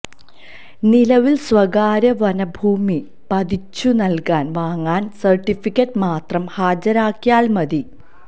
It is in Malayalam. നിലവിൽ സ്വകാര്യ വനഭൂമി പതിച്ചുനൽകാൻ വാങ്ങൽ സർട്ടിഫിക്കറ്റ് മാത്രം ഹാജരാക്കിയാൽ മതി